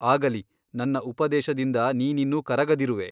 ಆಗಲಿ ನನ್ನ ಉಪದೇಶದಿಂದ ನೀನಿನ್ನೂ ಕರಗದಿರುವೆ.